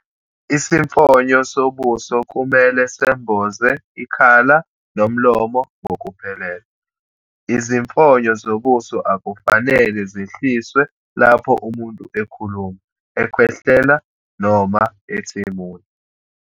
Isifonyo sobuso kumele semboze ikhala nomlomo ngokuphelele. Izifonyo zobuso akufanele zehliswe lapho umuntu ekhuluma, ekhwehlela noma ethimula.